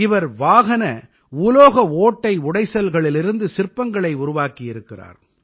இவர் வாகன உலோக ஓட்டை உடைசல்களிலிருந்து சிற்பங்களை உருவாக்கியிருக்கிறார்